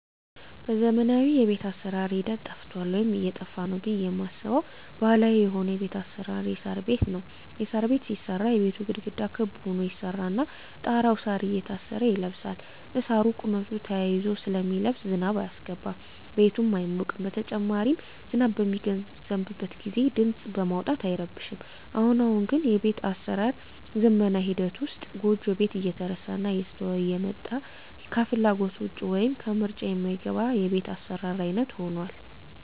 በዘመናዊ የቤት አሰራር ሂደት ጠፍቷል ወይም እየጠፋ ነው ብየ ማስበው ባህላዊ የሆነው የቤት አሰራር የሳር ቤት ነው። የሳር ቤት ሲሰራ የቤቱ ግድግዳ ክብ ሁኖ ይሰራና ጣራው እሳር እየታሰረ ይለብሳል እሳሩ በቁመቱ ተያይዞ ስለሚለብስ ዝናብ አያስገባም ቤቱም አይሞቅም በተጨማሪም ዝናብ በሚዘንብበት ግዜ ድምጽ በማውጣት አይረብሽም። አሁን አሁን ግን በቤት አሰራር ዝመና ሂደት ውስጥ ጎጆ ቤት እየተረሳና እየተተወ የመጣ ከፍላጎት ውጭ ወይም ከምርጫ ማይገባ የቤት አሰራር አይነት ሁኗል።